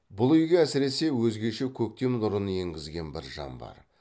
бұл үйге әсіресе өзгеше көктем нұрын енгізген бір жан бар